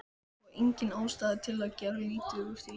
Og engin ástæða til að gera lítið úr því.